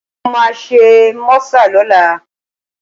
Mo máa ṣe mọ́sà lọ́la